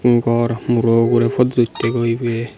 gor muro ugurey photo uttegoi ibey.